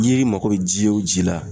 N'i mago be ji wo ji la